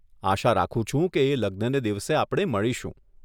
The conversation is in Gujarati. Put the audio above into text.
આશા રાખું છું કે એ લગ્નને દિવસે આપણે મળીશું.